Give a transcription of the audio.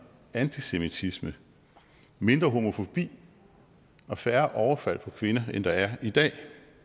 antisemitisme mindre homofobi og færre overfald på kvinder end der er i dag